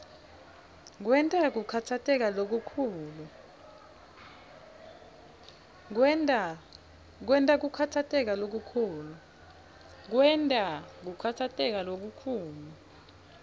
kwenta kukhatsateka lokukhulu